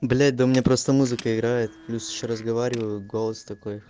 блять да у меня просто музыка играет плюс ещё разговариваю голос такой